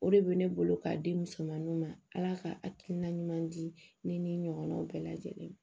O de bɛ ne bolo k'a di musomaninw ma ala ka akiina ɲuman di ne ni n ɲɔgɔnnaw bɛɛ lajɛlen ma